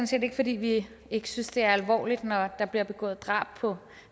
set ikke fordi vi ikke synes det er alvorligt når der bliver begået drab på